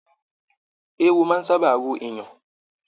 Èèwò máa n sábà ro èèyàn.